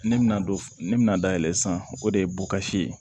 Ne bɛna don ne bɛna dayɛlɛ sisan o de ye bukasi ye